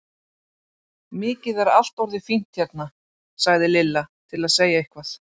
Mikið er allt orðið fínt hérna! sagði Lilla til að segja eitthvað.